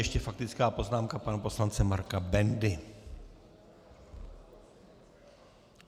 Ještě faktická poznámka pana poslance Marka Bendy.